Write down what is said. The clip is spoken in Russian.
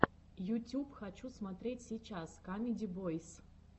ютюб хочу смотреть сейчас камеди бойс